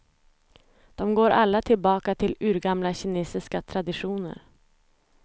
De går alla tillbaka till urgamla kinesiska traditioner.